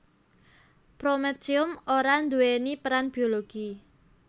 Prometium ora nduwèni peran biologi